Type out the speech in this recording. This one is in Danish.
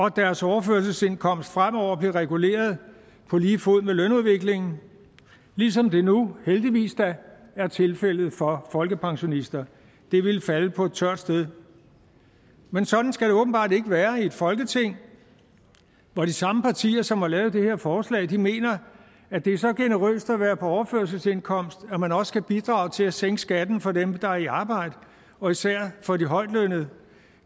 at deres overførselsindkomst fremover blev reguleret på lige fod med lønudviklingen ligesom det nu heldigvis da er tilfældet for folkepensionister det ville falde på et tørt sted men sådan skal det åbenbart ikke være i et folketing hvor de samme partier som har lavet det her forslag mener at det er så generøst at være på overførselsindkomst at man også kan bidrage til at sænke skatten for dem der er i arbejde og især for de højtlønnede